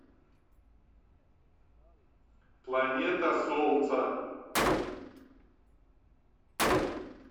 планета солнца